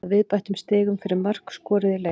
Að viðbættum stigum fyrir mörk skoruð í leik.